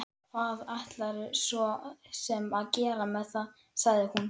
Hvað ætlarðu svo sem að gera með það, sagði hún.